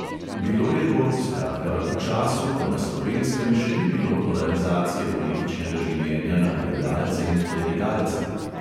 Bilo je to, skratka, v času, ko na slovenskem še ni bilo polarizacije političnega življenja na liberalce in klerikalce.